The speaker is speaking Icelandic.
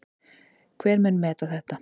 Hver mun meta þetta?